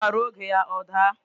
Ukwa ruo oge ya o da